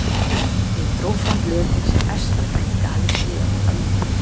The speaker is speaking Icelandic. Ég dró fram blöðin sem besta frænka hafði skrifað handa mér